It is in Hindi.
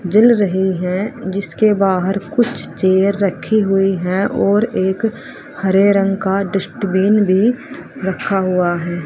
जल रहे हैं जिसके बाहर कुछ चेयर रखी हुई है और एक हरे रंग का डस्टबिन भी रखा हुआ है।